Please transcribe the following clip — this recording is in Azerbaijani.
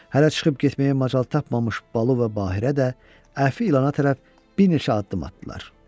Hələ çıxıb getməyə macal tapmamış Balu və Bahirə də Əfi ilana tərəf bir neçə addım atdılar.